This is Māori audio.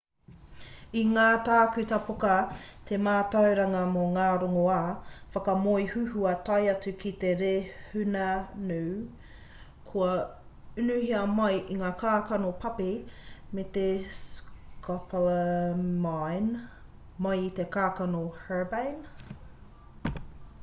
i ngā tākuta poka te mātauranga mo ngā rongoā whakamoe huhua tae atu ki te rehunanu kua unuhia mai i ngā kākano papi me te scopolamine mai i te kākano herbane